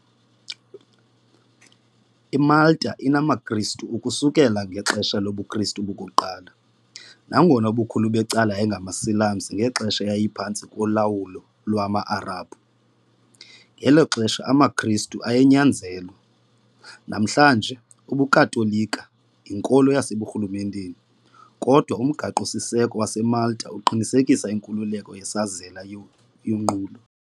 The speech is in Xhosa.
IMalta inamaKristu ukusukela ngexesha lobuKristu bokuqala, nangona ubukhulu becala yayingamaSilamsi ngelixa yayiphantsi kolawulo lwama-Arabhu, ngelo xesha amaKristu ayenyanyezelwa. Namhlanje, ubuKatolika yinkolo yaseburhulumenteni, kodwa uMgaqo-siseko waseMalta uqinisekisa inkululeko yesazela neyonqulo.